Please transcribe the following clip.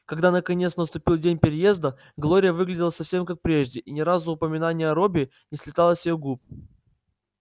когда наконец наступил день переезда глория выглядела совсем как прежде и ни разу упоминание о робби не слетало с её губ